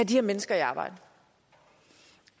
de her mennesker i arbejde